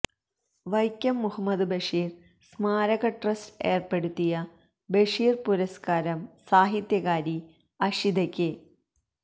വൈക്കം മുഹമ്മദ് ബഷീര് സ്മാരക ട്രസ്റ്റ് ഏര്പ്പെടുത്തിയ ബഷീര് പുരസ്കാരം സാഹിത്യകാരി അഷിതയ്ക്ക്